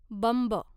बंब